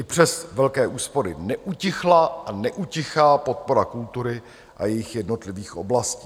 I přes velké úspory neutichla a neutichá podpora kultury a jejích jednotlivých oblastí.